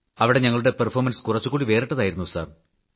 അവിടെ ഞങ്ങളുടെ പ്രകടനം കുറച്ച് വേറിട്ടതായിരുന്നു സർ